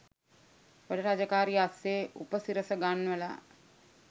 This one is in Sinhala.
වැඩ රාජකාරි අස්සේ උපසිරස ගන්වලා